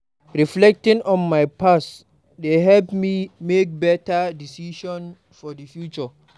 Reflecting on my past dey help me make better decisions for the future.